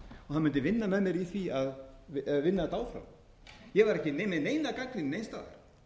og hann mundi vinna með mér í því eða vinna þetta áfram ég var ekki með neina gagnrýni neins staðar en